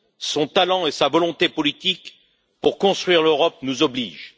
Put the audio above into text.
Son talent et sa volonté politique pour construire l'Europe nous obligent.